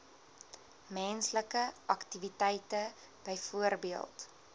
menslike aktiwiteite byvoorbeeld